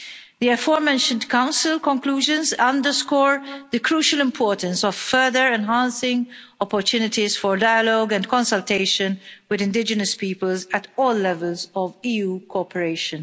The afore mentioned Council Conclusions underscore the crucial importance of further enhancing opportunities for dialogue and consultation with indigenous peoples at all levels of EU cooperation.